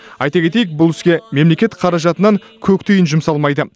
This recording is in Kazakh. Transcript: айта кетейік бұл іске мемлекет қаражатынан көк тиын жұмсалмайды